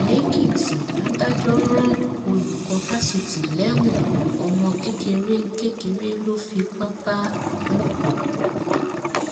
lèkìtì adájọ rán olùkọ fásitì lẹwọn ọmọ kékeré kékeré ló fipá bá lò pọ